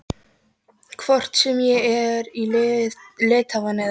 Hvort sem ég er í Litháen eða